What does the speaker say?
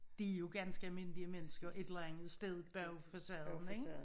De jo ganske almindelige mennesker et eller andet sted bag facaden ik